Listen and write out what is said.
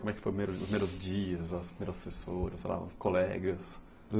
Como é que foi o primeiro os primeiros dias, as primeiras pessoas, os seus colegas?